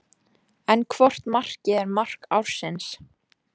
En hvort markið er mark ársins?